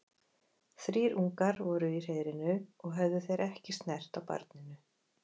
Þrír ungar voru í hreiðrinu og höfðu þeir ekki snert á barninu.